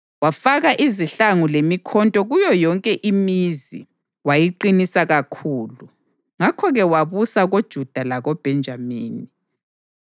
Wafaka izihlangu lemikhonto kuyo yonke imizi, wayiqinisa kakhulu. Ngakho-ke wabusa koJuda lakoBhenjamini.